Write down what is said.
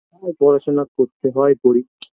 আমার পড়াশোনা করতে হয় করি